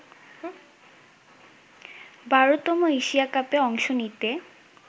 ১২তম Asia কাপে অংশ নিতে